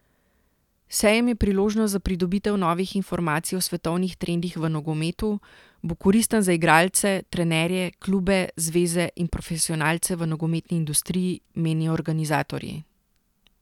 Sejem je priložnost za pridobitev novih informacij o svetovnih trendih v nogometu, bo koristen za igralce, trenerje, klube, zveze in profesionalce v nogometni industriji, menijo organizatorji.